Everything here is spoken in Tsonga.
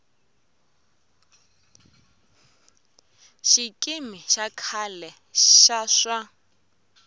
xikimi xa khale xa swa